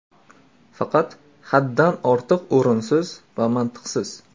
Faqat haddan ortiq o‘rinsiz va mantiqsiz.